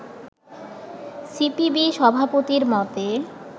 CPB সভাপতির মতে